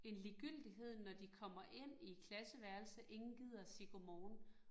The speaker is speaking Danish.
En ligegyldighed, når de kommer ind i klasseværelset, ingen gider sige godmorgen